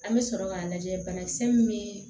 An bɛ sɔrɔ k'a lajɛ banakisɛ min bɛ